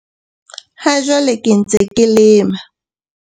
"Ha jwale ke ntse ke lema"